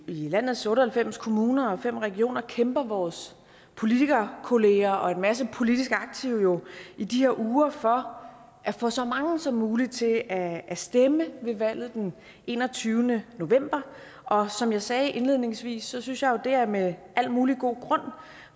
landets otte og halvfems kommuner og fem regioner kæmper vores politikerkolleger og en masse politisk aktive jo i de uger for at få så mange som muligt til at at stemme ved valget den enogtyvende november og som jeg sagde indledningsvis synes jeg jo det er med al mulig god grund